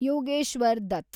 Yogeshwar Dutt